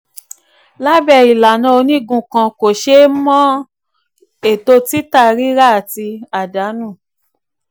lábẹ́ ìlànà onígun kan kò ṣe é mọ ètò títà èrè àti àdánù.